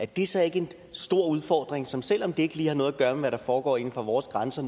det så ikke en stor udfordring som selv om det ikke lige har noget at gøre med hvad der foregår inden for vores grænser